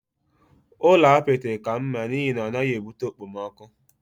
Ụlọ apịtị ka mma n'ihi na ọ naghị ebute okpomọkụ.